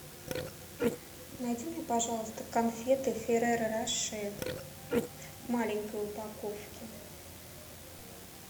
найди мне пожалуйста конфеты ферреро роше в маленькой упаковке